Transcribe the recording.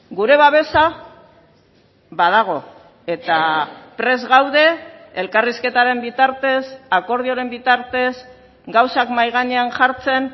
gure babesa badago eta prest gaude elkarrizketaren bitartez akordioren bitartez gauzak mahai gainean jartzen